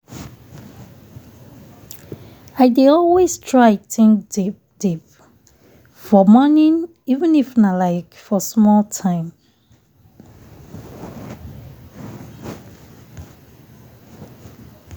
i dey always try think deep deep for morning even if nah like for small time.